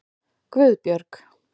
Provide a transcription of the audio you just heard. Guðbjörg